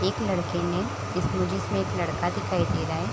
एक लड़के ने इसमें जिसमें एक लड़का दिखाई दे रहा है।